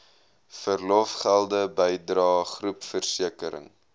verlofgelde bydrae groepversekering